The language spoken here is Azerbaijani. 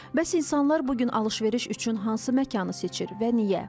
Bəs insanlar bu gün alış-veriş üçün hansı məkanı seçir və niyə?